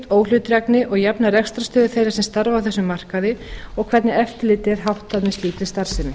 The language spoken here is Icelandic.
óhlutdrægni og jafna rekstrarstöðu þeirra sem starfa á þessum markaði og hvernig eftirliti er háttað með slíkri starfsemi